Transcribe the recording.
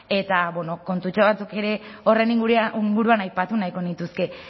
eta bueno kontutxo batzuk ere horren inguruan aipatu nahiko nituzke